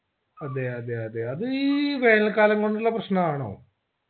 അതെ അതെ അതെ അതീ വേനൽ കാലംകൊണ്ടുള്ള പ്രശ്‌നാണോ